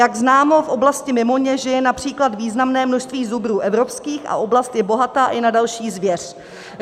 Jak známo, v oblasti Mimoně žije například významné množství zubrů evropských a oblast je bohatá i na další zvěř.